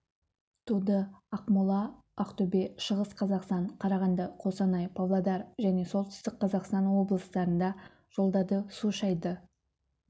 туды ақмола ақтөбе шығыс қазақстан қарағанды қостанай павлодар және солтүстік қазақстан облыстарында жолдарды су шайды